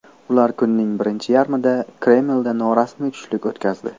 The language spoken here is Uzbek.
Ular kunning birinchi yarmida Kremlda norasmiy tushlik o‘tkazdi.